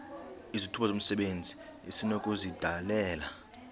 izithuba zomsebenzi esinokuzidalela